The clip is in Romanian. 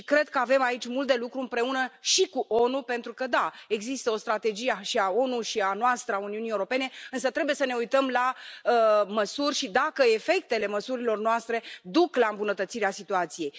Cred că avem aici mult de lucru împreună și cu ONU pentru că da, există o strategie și a ONU, și a noastră, a Uniunii Europene, însă trebuie să ne uităm la măsuri și dacă efectele măsurilor noastre duc la îmbunătățirea situației.